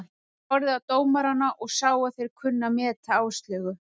Ég horfði á dómarana og sá að þeir kunnu að meta Áslaugu.